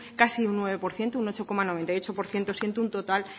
casi un nueve por ciento un ocho coma noventa y ocho por ciento siendo un total